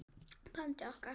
bandi okkar.